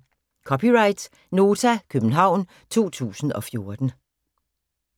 (c) Nota, København 2014